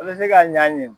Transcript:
O bɛ se ka ɲa a ye